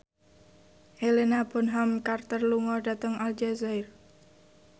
Helena Bonham Carter lunga dhateng Aljazair